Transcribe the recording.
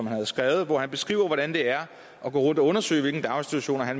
har skrevet og hvor han beskriver hvordan det er at gå rundt og undersøge hvilke daginstitutioner der